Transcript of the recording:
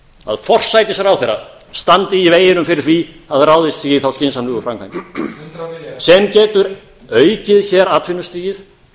að forsætisráðherra standi í veginum fyrir því að ráðist sé í þær skynsamlegu framkvæmdir sem getur aukið atvinnustigið